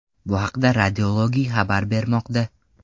Bu haqda Radiology xabar bermoqda .